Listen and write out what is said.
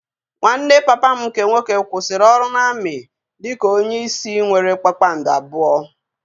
Nwanne papa m nke nwoke kwụsịrị ọrụ na-amị dị ka onye isi nwéré kpakpando abụọ